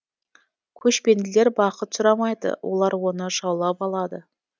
көшпенділер бақыт сұрамайды олар оны жаулап алады